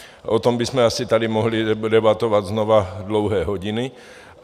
O tom bychom asi tady mohli debatovat znova dlouhé hodiny.